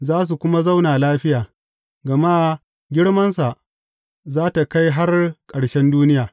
Za su kuma zauna lafiya, gama girmansa za tă kai har ƙarshen duniya.